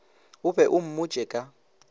o be o mmotše ka